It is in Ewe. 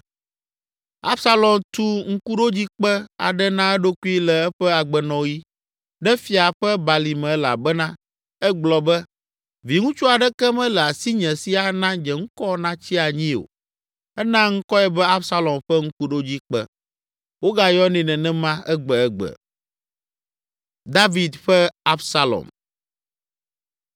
Absalom tu ŋkuɖodzikpe aɖe na eɖokui le eƒe agbenɔɣi ɖe Fia ƒe Balime elabena egblɔ be, “Viŋutsu aɖeke mele asinye si ana nye ŋkɔ natsi anyi o.” Ena ŋkɔe be “Absalom ƒe Ŋkuɖodzikpe.” Wogayɔnɛ nenema egbegbe.